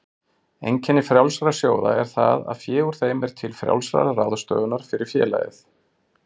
Einkenni frjálsra sjóða er það að fé úr þeim er til frjálsrar ráðstöfunar fyrir félagið.